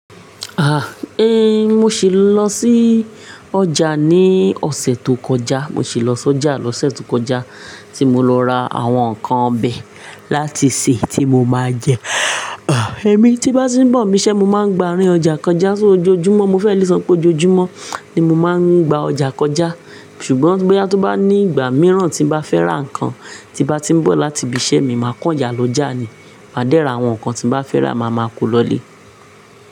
Ah, eh, mo sì lọ sí ọjà ní ọ̀sẹ̀ tó kọjá, mo sì lọ sí ọjà lọ́sẹ̀ tó kọjá tí mo lọ ra àwọn ǹkan ọbẹ̀ láti sè tí mo máa jẹ. Ah, èmi tí bá tí ń bọ̀ mi iṣẹ́, mo máa ń gba rín ọjà kọjá só ojoojúmọ́, mo fẹ́ le sọ pé ojoojúmọ́ ni mo máa ń gba ọjà kọjá. Ṣùgbọ́n bóyá tó bá ní ìgbà mìíràn tí n bá fẹ́ ra ǹkan tí bá ti ń bọ̀ láti ibi iṣẹ́ mi, màá kó ọjà lọ já ni. Máa dẹ́ra àwọn ǹkan tí n bá fẹ́ rà, màá ma kó lọ lé.